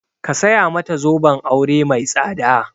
Ka saya mata zoben aure mai tsada!